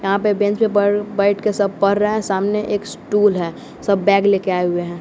यहां पे बेंच पे बर बैठ के सब पढ़ रहे हैं सामने एक स्टूल है सब बैग ले के आए हुए हैं।